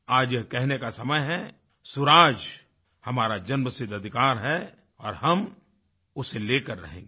आज ये कहने का समय है स्वराज हमारा जन्मसिद्ध अधिकार है और हम उसे लेकर रहेंगे